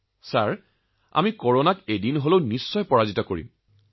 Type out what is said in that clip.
মহোদয় আমি কৰোনাক এদিন নহলে এদিন হলেও পৰাস্ত কৰিমেই